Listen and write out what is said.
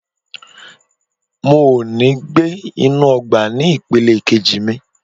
Mo ò ní gbé inú ọgbà ní ìpele kejì mi.